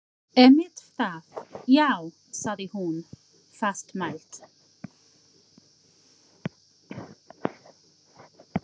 Einmitt það, já- sagði hún fastmælt.